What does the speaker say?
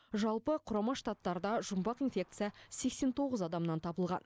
жалпы құрама штаттарда жұмбақ инфекция сексен тоғыз адамнан табылған